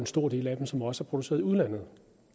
stor del af dem som også er produceret i udlandet